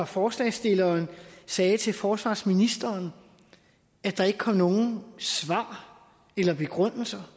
forslagsstilleren sagde til forsvarsministeren at der ikke kom nogen svar eller begrundelser